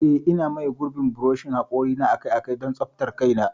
Eh, Ina maye gurbin buroshin hakori na akai-akai don tsaftar kaina.